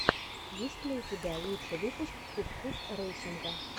есть ли у тебя лучший выпуск кус кус рэйсинга